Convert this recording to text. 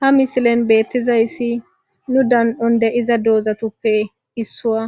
ha misilen beettizayssi nu dan7on de iza doozatuppe issua